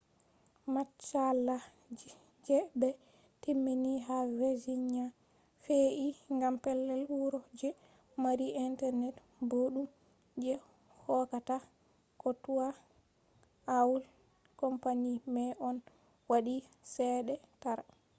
matsala je ɓe timmini ha virginia fe’i gam pellel wuro je mari internet boɗɗum je hokkata ko toi aol company mai on waɗi chede tara